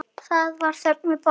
Það var þögn við borðið.